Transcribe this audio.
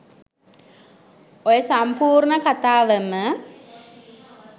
ඔය සම්පූර්ණ කථාවම